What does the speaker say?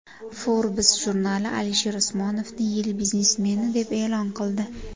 Forbes jurnali Alisher Usmonovni yil biznesmeni deb e’lon qildi.